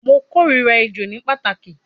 Mo korira ejo ni pataki